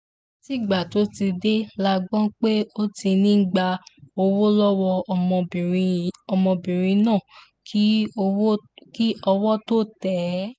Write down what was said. látìgbà tó ti dé la gbọ́ pé ó ti ń gba owó lọ́wọ́ ọmọbìnrin náà kí owó tóó tẹ̀ ẹ́